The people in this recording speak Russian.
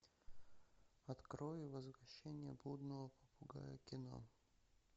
открой возвращение блудного попугая кино